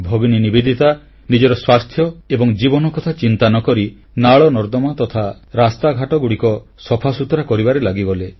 ଭଗିନୀ ନିବେଦିତା ନିଜ ସ୍ୱାସ୍ଥ୍ୟ ଓ ଜୀବନ କଥା ଚିନ୍ତା ନ କରି ନାଳନର୍ଦ୍ଦମା ତଥା ରାସ୍ତାଘାଟଗୁଡ଼ିକ ସଫା ସୁତୁରା କରିବାରେ ଲାଗିଗଲେ